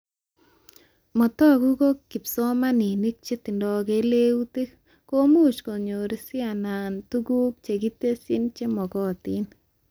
Mataku ko kipsomanink chetindoi keleutik komuch konyor sit anan tuguk chekitesyi chemagatain